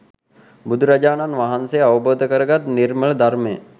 බුදුරජාණන් වහන්සේ අවබෝධ කරගත් නිර්මල ධර්මය